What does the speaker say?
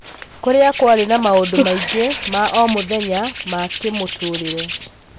Kũrĩa kũarĩ na maũndũ maingĩ ma-omũthenya ma-kĩmũtũrĩre.